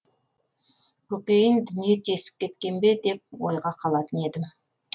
көкейін дүние тесіп кеткен бе деп ойға қалатын едім